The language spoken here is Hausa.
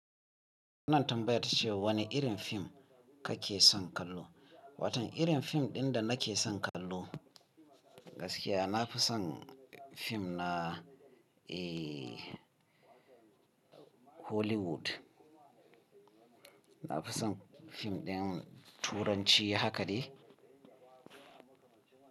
Kuna tambaya ta cewa wane irin fim kake son kallo. Watan irin fim ɗin da na ke son kallo gaskiya na fi son fim na ee Hollywood. Na fi son fim ɗin turanci haka de.